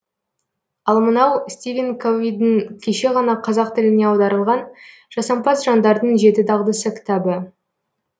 ал мынау стивен ковидің кеше ғана қазақ тіліне аударылған жасампаз жандардың жеті дағдысы кітабы